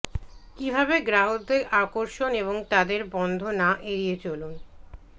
কিভাবে গ্রাহকদের আকর্ষণ এবং তাদের বন্ধ না এড়িয়ে চলুন